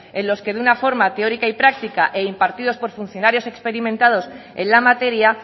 en los que de una forma teórica y práctica e impartidos por funcionarios experimentados en la materia